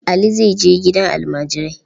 Ali zai je gidan almajirai.